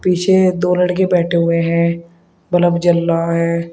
पीछे दो लड़के बैठे हुए हैं बल्ब जल रहा है।